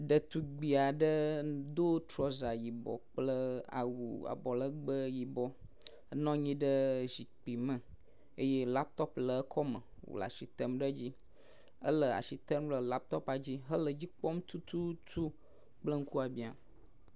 Ɖetugbi aɖe do trɔsa yibɔ kple awu abɔlegbe yibɔ nɔ anyi ɖe zikpui me eye laptɔpu le ekɔme wo le as item ɖe edzi. Ele as item ɖe laptɔpua dzi hele edzi kpɔm tututu kple ŋkubia.